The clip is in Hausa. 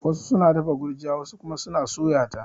Wasu suna dafa gurjiya wasu kuma suna suya ta